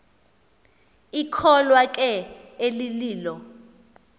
ikholwa ke elililo